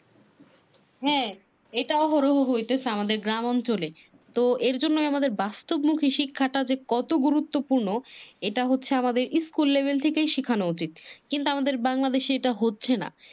হ্যা এটা ওহরহ হইতেছে আমাদের গ্রাম অঞ্চলে। এ জন্যে আমাদের বাস্তব মুখী শিক্ষাটা যে কত গুরুত্বপূর্ণ এটা আমাদের school লেভেল থেকেই শিখানো উচিত। কিন্তু আমাদের বাংলাদেশে এটা হচ্ছে না